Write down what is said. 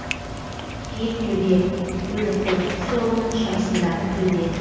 киіктөбе өліқолтық сорының шығысындағы төбе